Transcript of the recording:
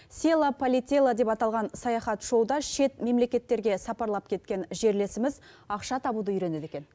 села полетела деп аталған саяхат шоуда шет мемлекеттерге сапарлап кеткен жерлесіміз ақша табуды үйренеді екен